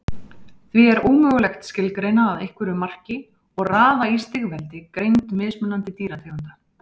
Því er ómögulegt skilgreina að einhverju marki og raða í stigveldi greind mismunandi dýrategunda.